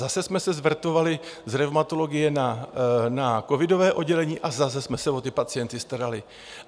Zase jsme se zverbovali z revmatologie na covidové oddělení a zase jsme se o ty pacienty starali.